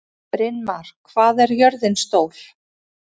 Brynmar, hvað er jörðin stór?